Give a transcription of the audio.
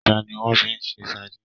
Ẹja ni wọ́n fi ń ṣe sadíìnì.